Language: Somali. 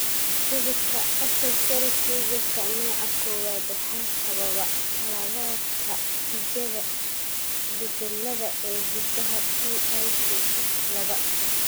cudurka Axenfeld Riegerka nooca kowaad waxaa sababa khaladaadka higaada (isbeddellada) ee hiddaha PITX laba.